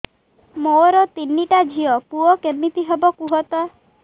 ମୋର ତିନିଟା ଝିଅ ପୁଅ କେମିତି ହବ କୁହତ